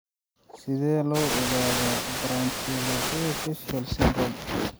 Sidee loo ogaadaa branchiooculofacial syndrome (BOFS)?